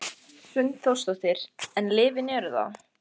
Hrund Þórsdóttir: En lyfin eru það?